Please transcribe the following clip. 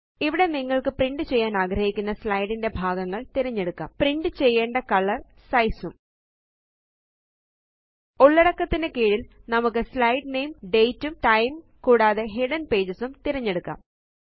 ഇവിടെ നിങ്ങള്ക്ക് പ്രിന്റ് ചെയ്യാനാഗ്രഹിക്കുന്ന സ്ലൈഡ് ന്റെ ഭാഗങ്ങള് തിരഞ്ഞെടുക്കാം ഉള്ളടക്കത്തിനു കീഴില് നമുക്ക് സ്ലൈഡ് നാമെ ഡേറ്റ് ഉം ടൈം കൂടാതെ ഹിഡൻ പേജസ് തിരഞ്ഞെടുക്കാം